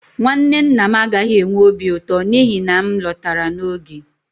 nwanne nna m agaghị enwe obi ụtọ n'ihi na m lọtara n'oge